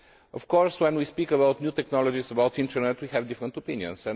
Of course when we speak about new technologies, and about the internet, we have different opinions.